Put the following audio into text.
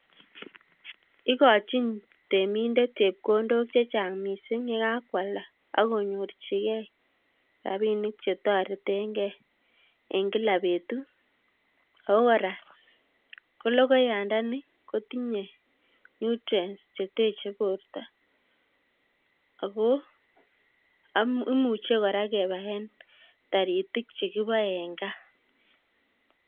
ikochin temindt chepkondok chechang' miising' yakakwalda akonyorchigei rabinik chetoretengei ing' kila betut, ako kora kologoyandani kotinye nutrients cheteche borto ako imuche kora kebaen taritik chekibae eng' gaa